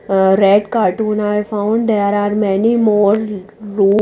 ah red cartooner found there are many more ro--